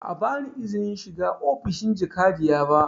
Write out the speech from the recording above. Ba a ba ni izinin shiga ofishin jakadiya ba